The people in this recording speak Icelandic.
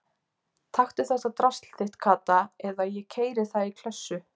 Taktu þetta drasl þitt Kata eða ég keyri það í klessu